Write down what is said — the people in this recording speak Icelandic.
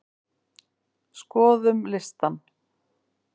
Skoðum listann!